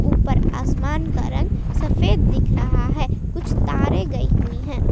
ऊपर आसमान का रंग सफेद दिख रहा है कुछ तारे गई हुई है।